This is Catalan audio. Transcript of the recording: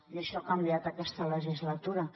i això ha canviat aquesta legislatura